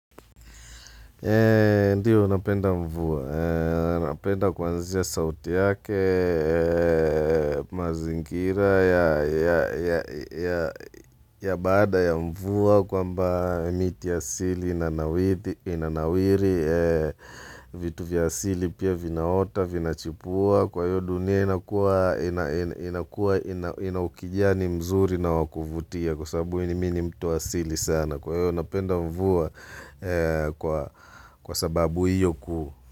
Ndiyo, napenda mvua. Napenda kwanzia sauti yake, mazingira ya baada ya mvua kwamba miti asili inanawiri, vitu vya asili pia vinaota, vina chipua. Kwa hiyo dunia inakua ina ukijani mzuri na wakuvutia Kwa sababu mimi ni mtu asili sana Kwahiyo napenda mvua kwa sababu hiyo kuu.